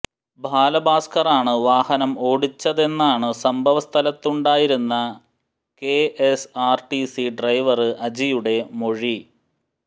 ബാലഭാസ്കറാണ് വാഹനം ഓടിച്ചതെന്നാണു സംഭവ സ്ഥലത്തുണ്ടായിരുന്ന കെഎസ്ആര്ടിസി ഡ്രൈവര് അജിയുടെ മൊഴി